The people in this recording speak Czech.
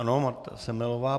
Ano, Marta Semelová.